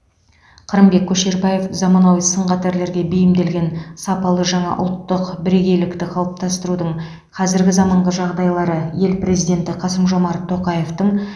қырымбек көшербаев заманауи сын қатерлерге бейімделген сапалы жаңа ұлттық бірегейлікті қалыптастырудың қазіргі заманғы жағдайында ел президенті қасым жомарт тоқаевтың